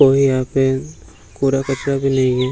और यहाँ पे कूड़ा कचरा भी नहीं है।